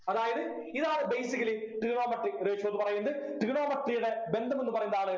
അതായത് ഇതാണ് basically Trigonometric ratio ന്നു പറയുന്നത് Trigonometry യുടെ ബന്ധമെന്ന് പറയുന്നതാണ്